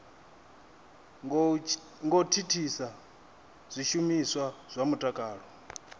ngo thithisa zwishumiswa zwa mutakalo